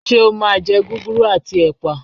Ṣé o máa jẹ gúgúrú àti ẹ̀pà?